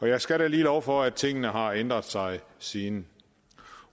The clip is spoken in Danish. jeg skal da lige love for at tingene har ændret sig siden